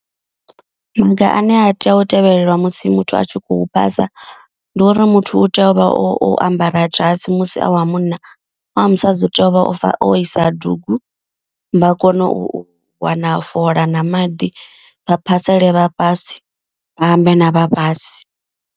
Maga ane ha tea u tevhelewa musi muthu a tshi khou phasa. Ndi uri muthu u tea u vha o ambara dzhasi musi a wa munna. A wa musadzi u tea u vha ofha o isa dugu vha kone u wana fola na maḓi. Vha phasele vhafhasi vha ambe na vhafhasi.